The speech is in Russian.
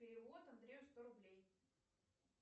перевод андрею сто рублей